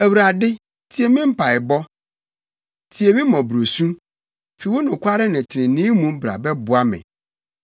Awurade, tie me mpaebɔ, tie me mmɔborɔsu; fi wo nokwaredi ne trenee mu bra bɛboa me.